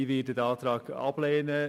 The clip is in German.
Ich werde den Antrag ablehnen.